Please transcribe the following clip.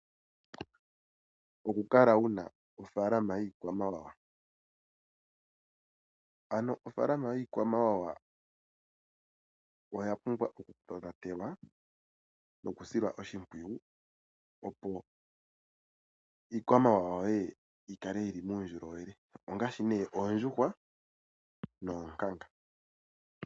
Oku kala wuna ofaalama yiikwamawawa . Ano ofaalama yiikwamawawa oya pumbwa oku tonatelwa nokusilwa oshimpwiyu opo iikwamawawa yoye yikale yili muundjolowele ongaashi ne oondjuhwa noonkanga.